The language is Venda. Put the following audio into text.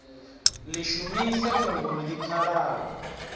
ḽi shumise fhungoni ḽi pfalaho